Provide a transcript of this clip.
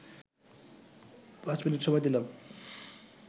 পাঁচ মিনিট সময় দিলাম